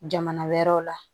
Jamana wɛrɛw la